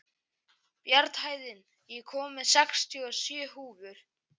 Bjarnhéðinn, ég kom með sextíu og sjö húfur!